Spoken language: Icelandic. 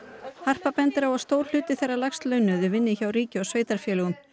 harpa bendir á að stór hluti þeirra lægst launuðu vinni hjá ríki og sveitarfélögum